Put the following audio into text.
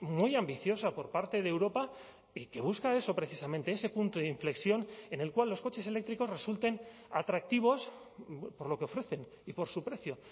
muy ambiciosa por parte de europa y que busca eso precisamente ese punto de inflexión en el cual los coches eléctricos resulten atractivos por lo que ofrecen y por su precio